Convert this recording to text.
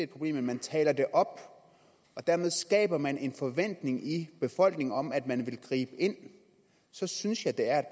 problem men man taler det op og dermed skaber man en forventning i befolkningen om at man vil gribe ind så synes jeg det er